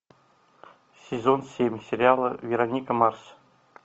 сезон семь сериала вероника марс